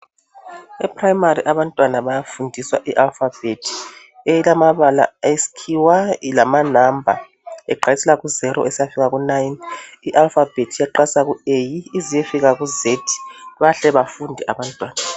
Eprimary abantwana bayafundiswa ialifabhethi elamabala esikhiwa lamanamba aqalisela kuzero esiyafika kunayini, ialifabhethi iyaqalisa ku eyi(a) isiyafika ku zethi(z) bahle befunde abantwana.